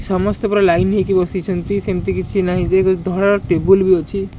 ସମସ୍ତେ ପୁରା ଲାଇନ ହେଇକି ବସିଛନ୍ତି ସେମତି କିଛି ନାହିଁ ଯେ ଧଲା ଟେବୁଲ ବି ଅଛି।